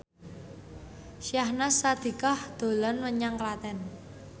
Syahnaz Sadiqah dolan menyang Klaten